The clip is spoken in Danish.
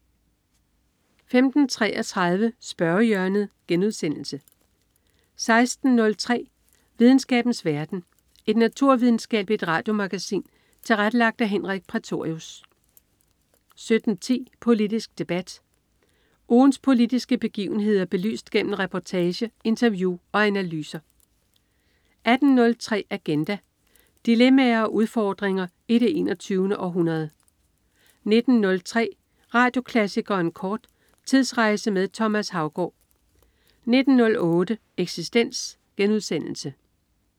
15.33 Spørgehjørnet* 16.03 Videnskabens verden. Et naturvidenskabeligt radiomagasin tilrettelagt af Henrik Prætorius 17.10 Politisk Debat. Ugens politiske begivenheder belyst gennem reportage, interview og analyser 18.03 Agenda. Dilemmaer og udfordringer i det 21. århundrede 19.03 Radioklassikeren kort. Tidsrejse med Thomas Haugaard 19.08 Eksistens*